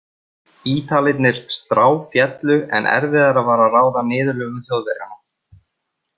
Ítalirnir stráféllu en erfiðara var að ráða niðurlögum Þjóðverjanna.